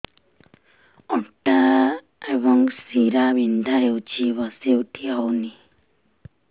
ଅଣ୍ଟା ଏବଂ ଶୀରା ବିନ୍ଧା ହେଉଛି ବସି ଉଠି ହଉନି